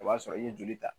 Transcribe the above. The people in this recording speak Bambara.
O b'a sɔrɔ i ye joli ta